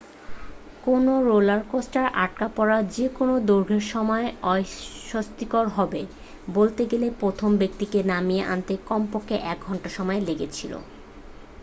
কোনও রোলার কোস্টারে আটকা পড়া যে কোন দৈর্ঘ্যের সময়ই অস্বস্তিকর হবে বলতে গেলে প্রথম ব্যক্তিকে নামিয়ে আনতে কমপক্ষে এক ঘন্টা সময় লেগেছিল